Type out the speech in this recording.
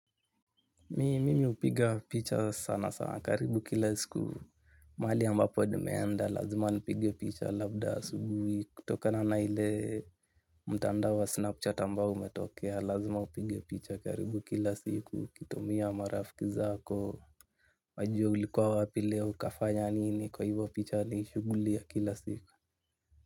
Mi mimi hupiga picha sana sana karibu kila siku. Mali ambapo nimeenda lazima nipige picha labda sugui. Tokana na ile. Mtandao wa snapchat ambao umetokea lazima upige picha karibu kila siku. ukitumia marafki zako. Wajue ulikwa wapi leo ukafanya nini kwa hivo picha ni shuguli ya kila siku.